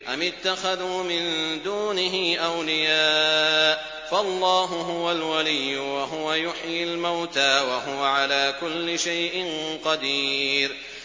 أَمِ اتَّخَذُوا مِن دُونِهِ أَوْلِيَاءَ ۖ فَاللَّهُ هُوَ الْوَلِيُّ وَهُوَ يُحْيِي الْمَوْتَىٰ وَهُوَ عَلَىٰ كُلِّ شَيْءٍ قَدِيرٌ